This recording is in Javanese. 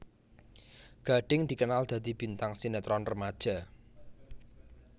Gading dikenal dadi bintang sinetron remaja